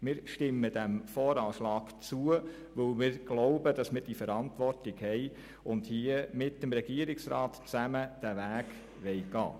Wir stimmen dem VA zu, denn wir tragen die Verantwortung und wollen gemeinsam mit dem Regierungsrat diesen Weg gehen.